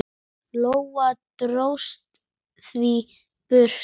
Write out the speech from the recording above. Lóa: Dróstu þau í burtu?